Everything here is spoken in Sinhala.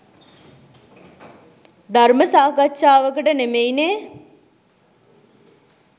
ධර්ම සාකච්චාවකට නෙමෙයිනේ